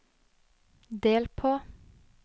del på